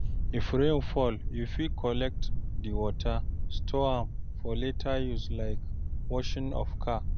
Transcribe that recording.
If rain fall, you fit collect di water, store am for later use like washing of car